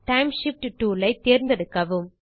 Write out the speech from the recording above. time shift tool ஐ தேர்ந்தெடுக்கவும்